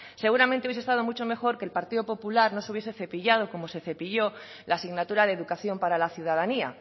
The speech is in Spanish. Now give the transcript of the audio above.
seguramente hubiese estado mucho mejor que el partido popular no se hubiese cepillado como se cepilló la asignatura de educación para la ciudadanía